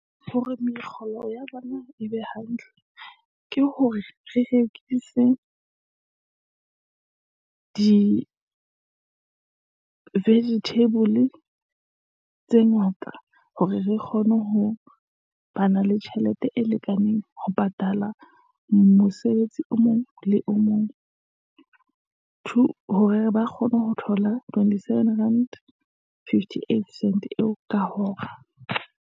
Hore mekgolo ya bona e be hantle, ke hore re rekise di-vegetable tse ngata, hore re kgone ho bana le tjhelete e lekaneng ho patala mosebetsi o mong le o mong. Two hore ba kgone ho thola twenty-seven rand, fifty-eight cents eo ka hora.